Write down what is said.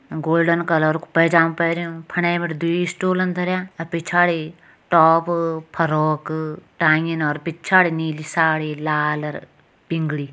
Golden colour कु पैजामा पैरयूं फंडे बिटि दुई स्टूलन धर्यां अ पिछाड़ी टॉप फ्रॉक टांगिन और पिछाड़ी नीली साड़ी लाल पिंगली।